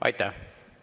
Aitäh!